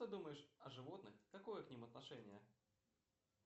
что думаешь о животных какое к ним отношение